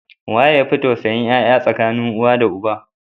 Waye yafi tausayin yaya tsakanin uwa da uba?